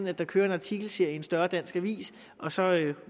at der kører en artikelserie i en større dansk avis og så